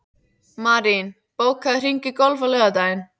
Marín, bókaðu hring í golf á laugardaginn.